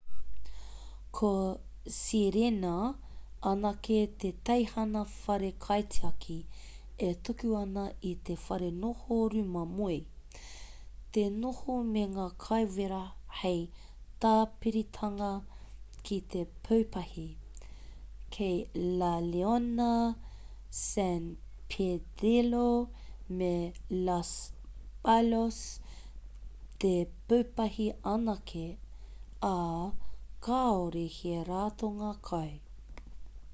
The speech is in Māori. ko sirena anake te teihana whare kaitiaki e tuku ana i te wharenoho rūma moe te noho me ngā kai wera hei tāpiritanga ki te pūpahi kei la leona san pedrillo me los patos te pūpahi anake ā kāore he ratonga kai